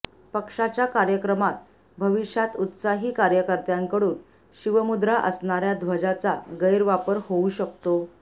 पक्षाच्या कार्यक्रमात भविष्यात उत्साही कार्यकर्त्यांकडून शिवमुद्रा असणाऱ्या ध्वजाचा गैरवापर होऊ शकतो